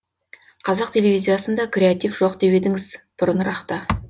қазақ телевизиясында креатив жоқ деп едіңіз бұрынырақта